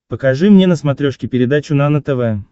покажи мне на смотрешке передачу нано тв